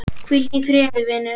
Hvíldu í friði, vinur.